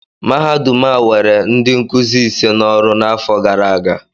Mahadum a were ndị nkuzi iri ise n'ọrụ n'afọ gara aga